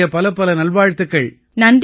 என்னுடைய பலப்பல நல்வாழ்த்துக்கள்